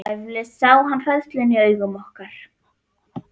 Eflaust sá hann hræðsluna í augum okkar.